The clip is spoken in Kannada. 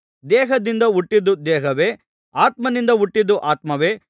ದೇಹದಿಂದ ಹುಟ್ಟಿದ್ದು ದೇಹವೇ ಆತ್ಮನಿಂದ ಹುಟ್ಟಿದ್ದು ಆತ್ಮವೇ